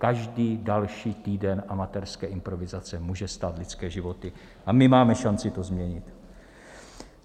Každý další týden amatérské improvizace může stát lidské životy a my máme šanci to změnit.